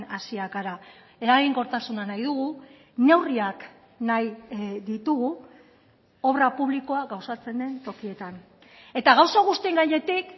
hasiak gara eraginkortasuna nahi dugu neurriak nahi ditugu obra publikoa gauzatzen den tokietan eta gauza guztien gainetik